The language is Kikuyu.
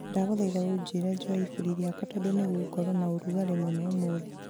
ndagũthaitha ũnjĩĩre njoe iburi rĩakwa tondũ nĩ gũgũkorwo na ũrugarĩ mũno ũmũthĩ